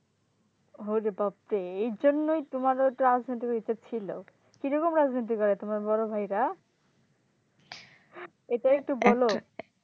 ওরে বাপড়ে এই জন্যই তোমাদের রাজনীতির ভিতর ছিল কিরকম রাজনীতি করে তোমার বড় ভাইরা? এটা একটু বলো